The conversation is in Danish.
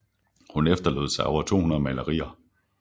Hun efterlod sig over 200 malerier